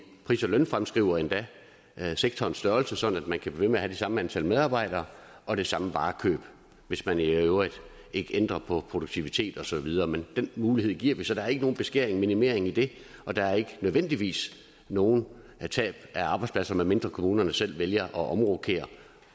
pris og lønfremskriver endda sektorens størrelse sådan at man kan blive ved med det samme antal medarbejdere og det samme varekøb hvis man i øvrigt ikke ændrer på produktivitet og så videre men den mulighed giver vi så der er ikke nogen beskæring eller minimering i det og der er ikke nødvendigvis nogen tab af arbejdspladser medmindre kommunerne selv vælger at omrokere